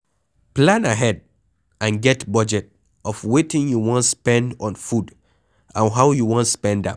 Plan ahead and get budget of wetin you wan spend on food and how you wan spend am